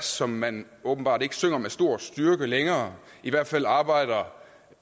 som man åbenbart ikke synger med stor styrke længere i hvert fald arbejder